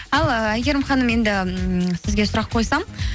ал ы әйгерім ханым енді м сізге сұрақ қойсам